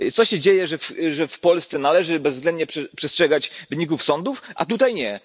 Co się dzieje, że w Polsce należy bezwzględnie przestrzegać wyników sądów, a tutaj nie?